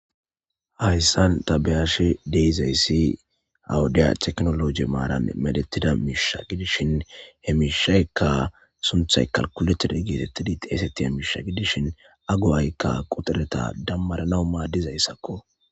Hayssan tabeyashi deizayssi awudiya teknoloji maaran medettida miisha gidishin hemishaykka sunthay kalkulettida geetettidi xeesetti a miisha gidishin agu7aykka quxereta dammaranau maaddizayssakko.